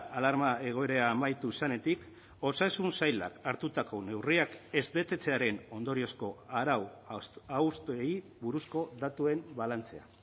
alarma egoera amaitu zenetik osasun sailak hartutako neurriak ez betetzearen ondoriozko arau hausteei buruzko datuen balantzea